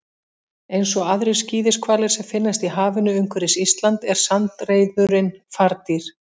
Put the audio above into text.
Eins og aðrir skíðishvalir sem finnast í hafinu umhverfis Ísland er sandreyðurin fardýr.